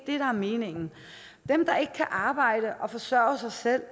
er meningen dem der ikke kan arbejde og forsørge sig selv